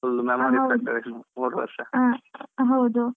full memories ಮೂರೂ ವರ್ಷ.